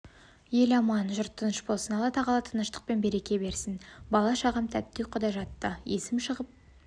ел аман жұрт тыныш болсын алла-тағала тыныштық пен береке берсін бала-шағам ттті ұйқыда жатты есім шығып